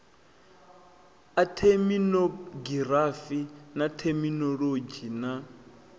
a theminogirafi na theminolodzhi na